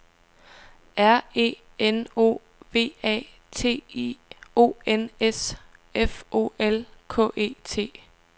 R E N O V A T I O N S F O L K E T